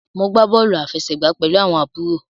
Mo gbà bóòlù àfẹsẹ̀gbá pẹlú àwọn àbúrò.